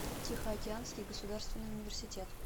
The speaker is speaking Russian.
тихоокеанский государственный университет